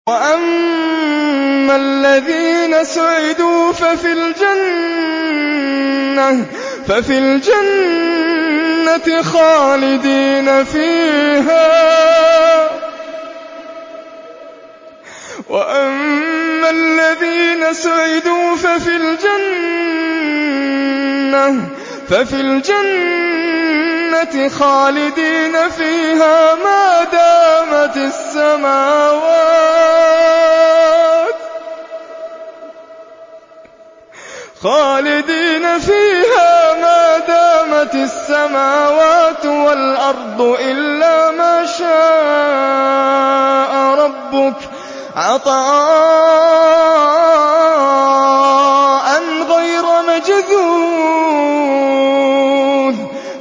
۞ وَأَمَّا الَّذِينَ سُعِدُوا فَفِي الْجَنَّةِ خَالِدِينَ فِيهَا مَا دَامَتِ السَّمَاوَاتُ وَالْأَرْضُ إِلَّا مَا شَاءَ رَبُّكَ ۖ عَطَاءً غَيْرَ مَجْذُوذٍ